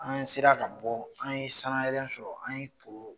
An sera ka bɔ an ye san sɔrɔ an to